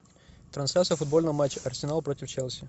трансляция футбольного матча арсенал против челси